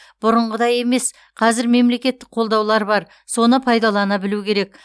бұрынғыдай емес қазір мемлекеттік қолдаулар бар соны пайдалана білу керек